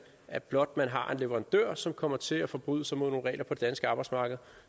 at blot man har en leverandør som kommer til at forbryde sig mod nogle regler på det danske arbejdsmarked